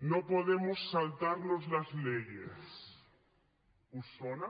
no podemos saltarnos las leyes us sona